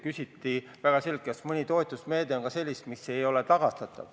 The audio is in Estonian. Küsiti väga selgelt, kas mõni toetusmeede on ka selline, mille raha ei tule tagastada.